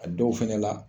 A dɔw fɛnɛ la